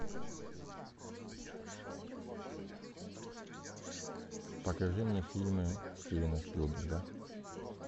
покажи мне фильмы стивена спилберга